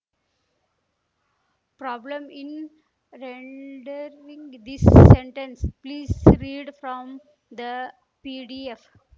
problem in rendering this sentence please read from the PDF